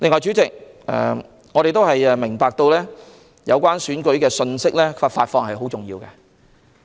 主席，我們明白有關選舉信息的發放十分重要。